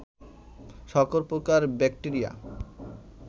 সকল প্রকার ব্যাক্টেরিয়া